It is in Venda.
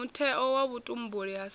mutheo wa vhutumbuli ha sa